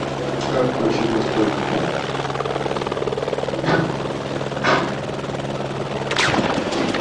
как включить настройки